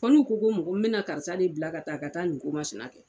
Fɔ n'u ko n bɛna na karisa de bila ka taa ka nin ko masinɛ kɛ.